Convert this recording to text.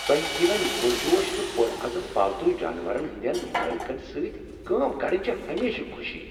تۄہہ ہویٚن پرجوش تہٕ پرعزم پالتو جانورن ہنٛدٮ۪ن مٲلکن سۭتۍ کٲم کرٕنۍ چھ ہمیشہٕ خوشی۔